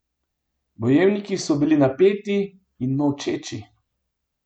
Bojevniki so bili napeti in molčeči.